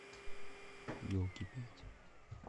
елки пять